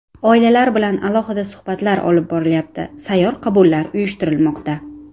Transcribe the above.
Oilalar bilan alohida suhbatlar olib borilyapti, sayyor qabullar uyushtirilmoqda.